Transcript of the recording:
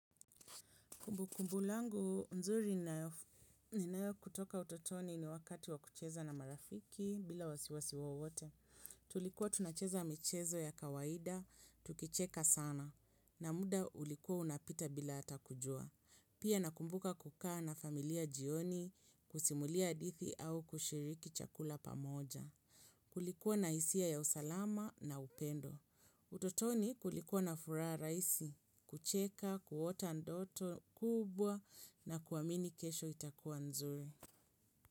Kumbukumbu langu nzuri ninayo kutoka utotoni ni wakati wa kucheza na marafiki bila wasiwasi wowote. Tulikuwa tunacheza michezo ya kawaida, tukicheka sana. Na muda ulikuwa unapita bila hata kujua. Pia nakumbuka kukaa na familia jioni kusimulia hadithi au kushiriki chakula pamoja. Kulikuwa na hisia ya usalama na upendo. Utotoni kulikuwa na furaha rahisi, kucheka, kuota ndoto kubwa na kuamini kesho itakuwa nzuri.